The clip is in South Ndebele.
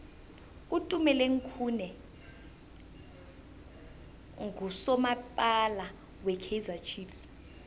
utumeleng khune nqusomapala we kaizer chiefs